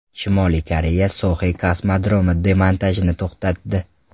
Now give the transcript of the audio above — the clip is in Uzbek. Shimoliy Koreya Soxe kosmodromi demontajini to‘xtatdi.